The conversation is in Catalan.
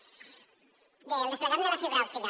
bé el desplegament de la fibra òptica